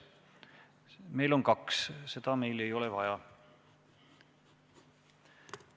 Meil on kaks kandidaati, nii et seda meil ei ole vaja.